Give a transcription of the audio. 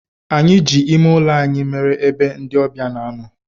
Anyi ji ime ulo anyi mere ebe ndi obia na-ano.